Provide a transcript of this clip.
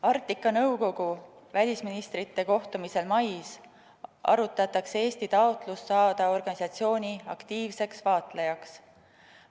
Arktika Nõukogu välisministrite kohtumisel mais arutatakse Eesti taotlust saada organisatsiooni aktiivseks vaatlejaks.